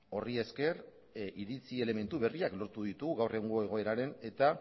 horri esker iritzi elementu berriak lortu ditugu gaur egungo egoeraren eta